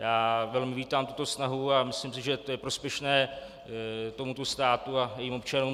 Já velmi vítám tuto snahu a myslím si, že je to prospěšné tomuto státu a jejím občanům.